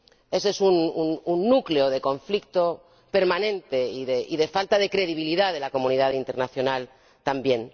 Ese es un núcleo de conflicto permanente y de falta de credibilidad de la comunidad internacional también.